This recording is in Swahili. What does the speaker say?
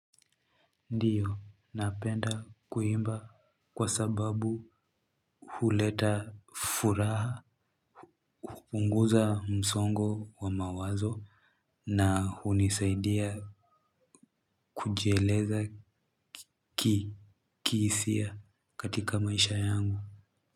Ndiyo napenda kuimba kwa sababu huleta furaha hupunguza msongo wa mawazo na hunisaidia kujieleza kihisia katika maisha yangu.